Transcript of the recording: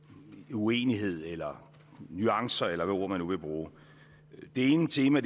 uenighed eller nuancer eller et ord man nu vil bruge det ene tema